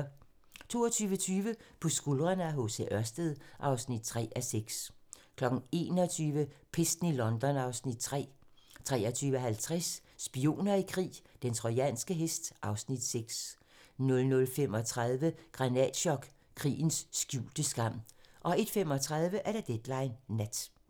22:20: På skuldrene af H. C. Ørsted (3:6) 23:00: Pesten i London (Afs. 3) 23:50: Spioner i krig: Den trojanske hest (Afs. 6) 00:35: Granatchok: Krigens skjulte skam 01:35: Deadline Nat